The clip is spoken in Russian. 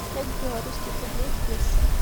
пять белорусских рублей в песо